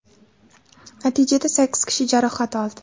Natijada sakkiz kishi jarohat oldi.